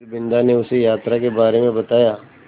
फिर बिन्दा ने उसे यात्रा के बारे में बताया